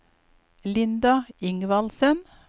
Linda Ingvaldsen